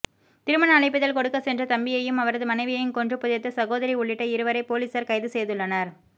திருமண அழைப்பிதழ் கொடுக்க சென்ற தம்பியையும் அவரது மனைவியையும் கொன்று புதைத்த சகோதரி உள்ளிட்ட இருவரை பொலிசார் கைது செய்துள்ளனர்